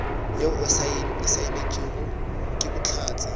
yeo e saenetšwego ke bohlatse